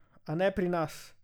A ne pri nas!